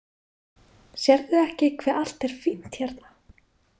Sérðu ekki hve allt er fínt hérna?